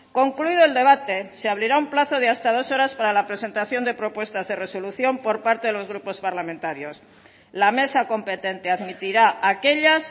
concluido el debate se abrirá un plazo de hasta dos horas para la presentación de propuestas de resolución por parte de los grupos parlamentarios la mesa competente admitirá aquellas